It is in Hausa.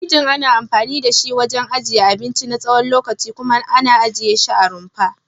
Firinji ana anfani da shi wajen ajiyar abinci na tsawon lokaci kuma ana ajiye shi a rumfa.